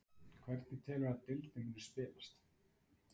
Hvernig telurðu að deildin muni spilast?